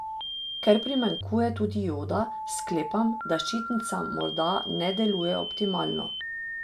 Ker primanjkuje tudi joda, sklepam, da ščitnica morda ne deluje optimalno.